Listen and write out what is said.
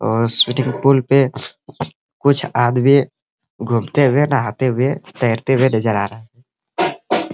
और swimming pool पे कुछ आदमी घूमते हुए नहाते हुए तैरते हुए नज़र आ रहा हैं।